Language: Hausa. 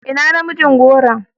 Ina namijin goron?